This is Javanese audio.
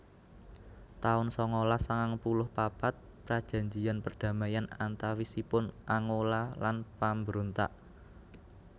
taun sangalas sangang puluh papat Prajanjian perdamaian antawisipun Angola lan pambrontak